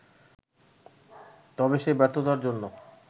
তবে সেই ব্যর্থতার জন্য